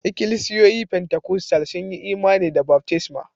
Ikilisiyoyi Pentikostal sun yi imani da baftisma